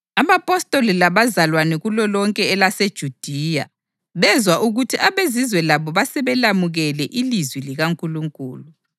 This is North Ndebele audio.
Abapostoli labazalwane kulolonke elaseJudiya bezwa ukuthi abeZizwe labo basebelamukele ilizwi likaNkulunkulu.